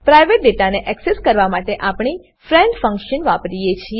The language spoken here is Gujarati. પ્રાઇવેટ ડેટાને એક્સેસ કરવા માટે આપણે ફ્રેન્ડ ફંકશન ફ્રેન્ડ ફંક્શન વાપરીએ છીએ